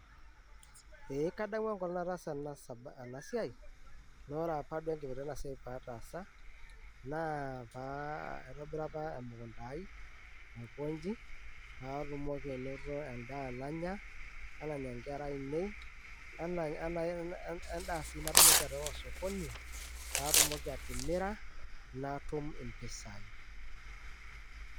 ee kadamu enkolong natasaa ena siai na ore duo apa enkipirta ena siai patasa, na aitobira apa emukunda ai aikonji, patumoki anoto endaa nanyaa, onanya enkara ainei, ene wendaa si natumoki atipika osokoni, patumoki atimira natum mpisai,